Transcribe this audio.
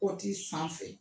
Kɔti sanfɛ